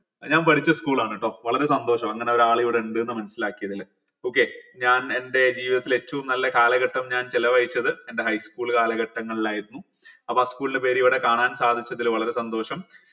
ഞാൻ പഠിച്ച school ആണ് ട്ടോ വളരെ സന്തോഷം അങ്ങനെ ഒരാൾ ഇവിടെ ഇണ്ട് ന്ന് മനസിലാക്കിയതിൽ okay ഞാൻ എന്റെ ജീവിതത്തിൽ ഏറ്റവും നല്ല കാലഘട്ടം ഞാൻ ചിലവഴിച്ചത് എന്റെ high school കാലഘട്ടങ്ങളിലായിരുന്നു അപ്പൊ ആ school ൻ്റെ പേര് ഇവിടെ കാണാൻ സാധിച്ചതിൽ വളരെ സന്തോഷം